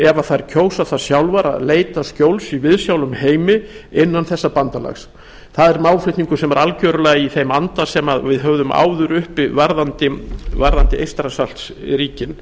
ef þær kjósa sjálfar að leita skjóls í viðsjálum heimi innan þessa bandalags það er málflutningur sem er algjörlega í þeim anda sem við höfðum áður uppi varðandi eystrasaltsríkin